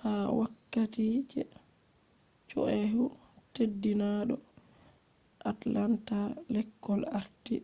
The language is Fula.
ha wokkati je chyahu teddinado atlanta lekol arti